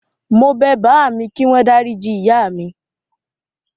Mo bẹ bàámi kíwọ́n dáríji ìyá mi.